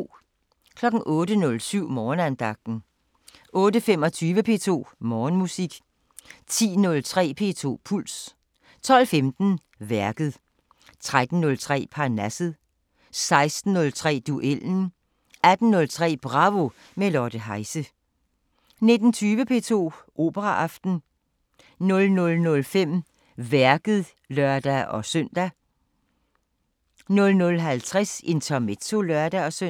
08:07: Morgenandagten 08:25: P2 Morgenmusik 10:03: P2 Puls 12:15: Værket 13:03: Parnasset 16:03: Duellen 18:03: Bravo – med Lotte Heise 19:20: P2 Operaaften 00:05: Værket (lør-søn) 00:50: Intermezzo (lør-søn)